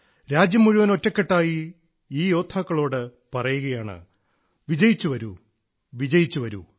രാജ്യം മുഴുവൻ ഒറ്റക്കെട്ടായി ഈ യോദ്ധാക്കളോട് പറയുകയാണ് വിജയിച്ചു വരൂ വിജയിച്ചു വരൂ